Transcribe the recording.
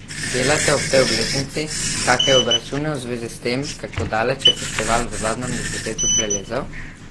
Delate ob tej obletnici kake obračune v zvezi s tem, kako daleč je festival v zadnjem desetletju prilezel?